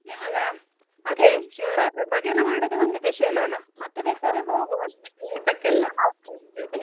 ನಿಮ್ಗ ಅದೇ ಶಿವರಾತ್ರಿ ಭಜನೆ ಮಾಡುದು ಒಂದು special ಅಲ್ಲ. ಮತ್ತೆ ಬೇಕಾದ್ರೆ ಹೋಗ್ವ. ಊಟಕ್ಕೆಲ್ಲ .